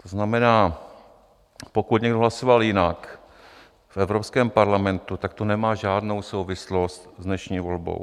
To znamená, pokud někdo hlasoval jinak v Evropském parlamentu, tak to nemá žádnou souvislost s dnešní volbou.